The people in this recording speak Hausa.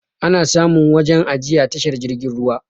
Ana samun waje ajiya tashar jirgin ruwa